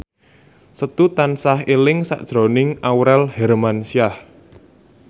Setu tansah eling sakjroning Aurel Hermansyah